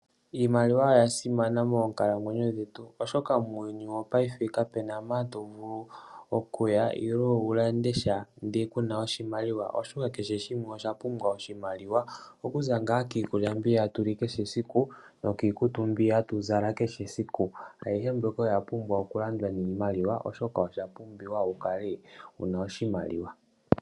Iimaliwa oya simana moonkalamwenyo dhetu oshoka muuyuni wopayife kapena mpoka tovulu okuya ndele kunasha iimaliwa okuza ngaa kiikulya mbyono hatuli kehe esiku, nokiikutu mbi hatuzala kehe esiku oshoka oshapumbiwa wukale wuna oshimaliwa.